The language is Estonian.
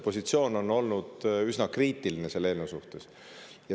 Positsioon selle eelnõu suhtes on olnud üsna kriitiline.